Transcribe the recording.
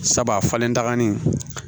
Sabu a falenta nin